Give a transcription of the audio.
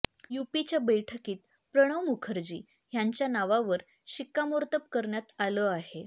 यूपीच्या बैठकीत प्रणव मुखर्जी ह्यांच्या नावावर शिक्कामोर्तब करण्यात आलं आहे